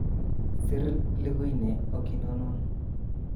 Sir liguine okikonon